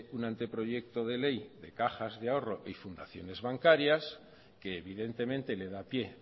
un anteproyecto de ley de cajas de ahorro y fundaciones bancarias que evidentemente le da pie